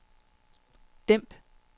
dæmp